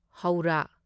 Howrah